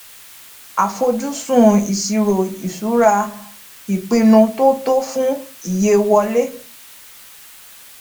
àfojúsùn iṣiro ìṣura ipinnu tó tọ fún iye wọlé